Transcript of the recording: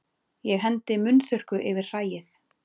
Ég hendi munnþurrku yfir hræið.